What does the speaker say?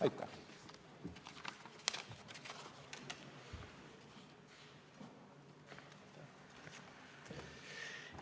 Aitäh!